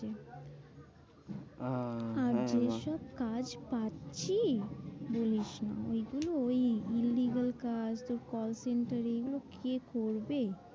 আহ আর যে সব কাজ পাচ্ছি বলিসনা এগুলো ওই এর কাজ, কল center এগুলো কে করবে?